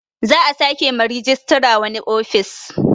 Za a sake ma rejista wani ofis